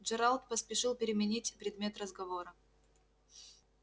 джералд поспешил переменить предмет разговора